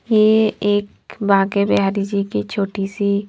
यह एक बाके बिहारी जी की छोटी सी--